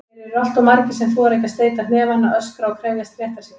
Þeir eru alltof margir sem þora ekki að steyta hnefana, öskra og krefjast réttar síns.